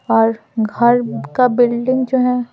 और घर का बिल्डिंग जो है।